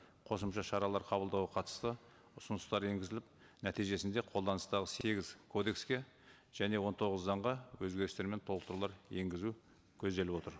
қосымша шаралар қабылдауға қатысты ұсыныстар енгізіліп нәтижесінде қолданыстағы сегіз кодекске және он тоғыз заңға өзгерістер мен толықтырулар енгізу көзделіп отыр